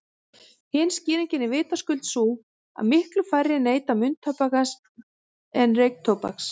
Hin skýringin er vitaskuld sú að miklu færri neyta munntóbaks en reyktóbaks.